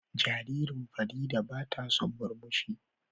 Jaririn Fareedah bata son murmushi.